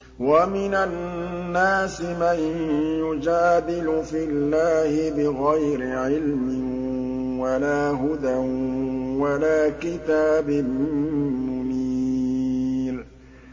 وَمِنَ النَّاسِ مَن يُجَادِلُ فِي اللَّهِ بِغَيْرِ عِلْمٍ وَلَا هُدًى وَلَا كِتَابٍ مُّنِيرٍ